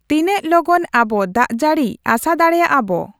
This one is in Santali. ᱛᱤᱱᱟᱹᱜ ᱞᱚᱜᱚᱞ ᱟᱵᱚ ᱫᱟᱜᱡᱟᱹᱲᱤ ᱟᱥᱟ ᱫᱟᱲᱮᱭᱟᱜ ᱟᱵᱚ